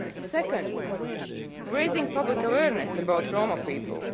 Second, raising public awareness about Roma people.